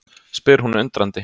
spyr hún undrandi.